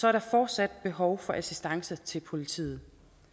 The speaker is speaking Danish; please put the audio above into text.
er der fortsat behov for assistance til politiet